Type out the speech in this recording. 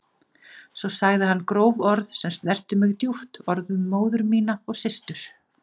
Svo sagði hann gróf orð sem snertu mig djúpt, orð um móður mína og systur.